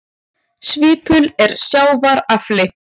Svipull er sjávar afli.